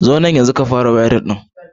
Zo nan yanzu ka fara wayarin ɗin.